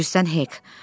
Bilirsən, Hek?